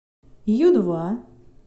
ю два